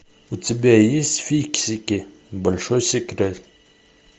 у тебя есть фиксики большой секрет